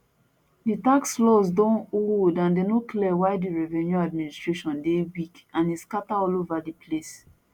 di tax laws don old and dem no clear while di revenue administration dey weak and e scata all over di place